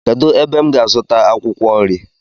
Kedụ ebe m gá-azuta akwụkwọ nri?